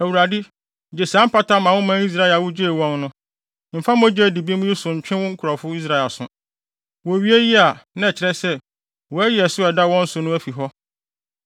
Awurade, gye saa mpata ma wo man Israel a wugyee wɔn no. Mfa mogya a edi bem yi ho so nto wo nkurɔfo Israel so.” Wowie eyi a, na ɛkyerɛ sɛ, wɔayi ɛso a ɛda wɔn so no afi hɔ.